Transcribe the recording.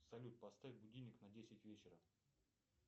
салют поставь будильник на десять вечера